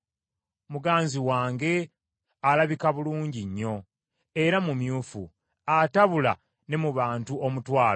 Muganzi wange alabika bulungi nnyo era mumyufu, atabula ne mu bantu omutwalo.